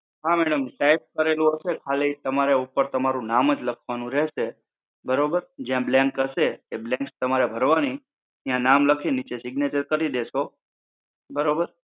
હા madam type કરેલું હશે ખાલી તમારે ઉપર તમારું નામ જ લખવાનું રહેશે. બરોબર? ત્યાં blank હશે એ blank તમારે ભરવાની. ત્યાં નામ લખી લીચે signature કરી દેશો. બરોબર?